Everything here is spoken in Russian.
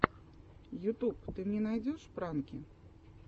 ютуб ты мне найдешь пранки